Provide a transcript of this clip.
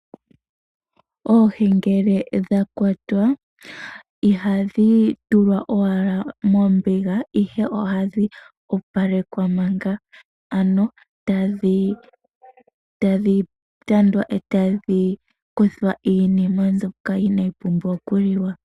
Oohi ngele dhakwatwa ihadhi tulwa owala mombiga ihe ohadhi opalekwa manga, ano tadhi tandwa etadhi kuthwa iinima mbyoka inaayi pumbwa okuliwa.